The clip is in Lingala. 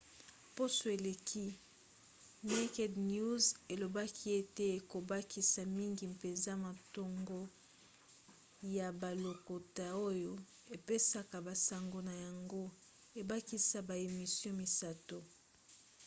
poso eleki naked news elobaki ete ekobakisa mingi mpenza motango ya balokota oyo epesaka basango na yango ebakisa baemission misato